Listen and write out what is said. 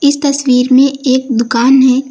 तस्वीर में एक दुकान है।